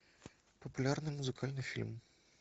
популярный музыкальный фильм